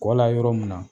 Kɔ la yɔrɔ mun na